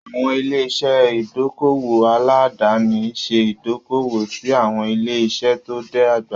Àwọn ilé-iṣẹ́ ìdókòwò aládàáni ń ṣe ìdókòwò sí àwọn ilé-iṣẹ́ tó dàgbà.